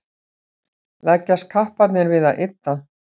leggjast kapparnir við að ydda